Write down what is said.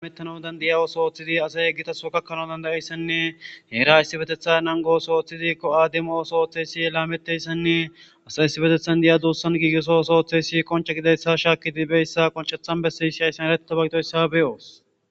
Amettano dandaya os ooththidi asay eggitaso kakkano dandayeyssenne heera yssi betetha nangos ooththidikko aademosooththeysi laametteyssenne asa yssi betethan diya duussan giigiso sooththesi qonche gidayssa shaaki dibeyssa qonchethan bessi issh ayssen eretabagitoyssa beyoos.